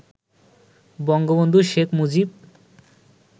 Bangabandhu Sheikh Mujib